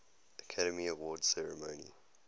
academy awards ceremony